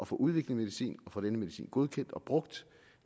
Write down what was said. få udviklet medicin og få denne medicin godkendt og brugt